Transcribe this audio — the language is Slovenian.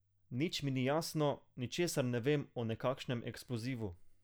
Nič mi ni jasno, ničesar ne vem o nekakšnem eksplozivu.